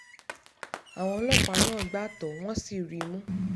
àwọn ọlọ́pàá náà gbá tọ́ ọ wọ́n sì rí i mú